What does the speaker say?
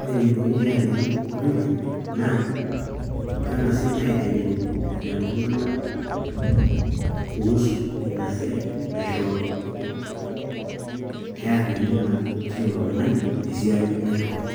Ore eneikoni peeariyanu poki ng'ae naa keng'asi aiteng'en lelo tung'anak kuhusu ina siai naishooki pearianu naa kila oltung'ani tesia naishooki.